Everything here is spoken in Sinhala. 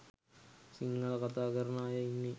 සිංහල කථා කරන අය ඉන්නෙ?